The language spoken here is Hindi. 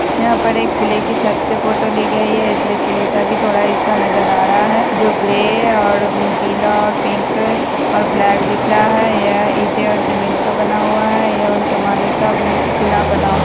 यहाँ पर एक किले की छत से फोटो ली गयी है इसलिए किले का भी थोड़ा हिस्सा नजर आ रहा है जो ग्रे और पीला और पिंक और ब्लैक दिख रहा है यह ईंटे और सीमेंट का बना हुआ है यह उस ज़माने का किला बना हु --